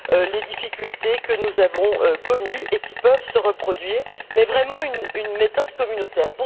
les difficultés que nous avons connues, et qui peuvent se reproduire, mais vraiment une méthode communautaire.